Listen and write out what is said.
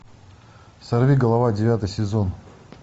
сорви голова девятый сезон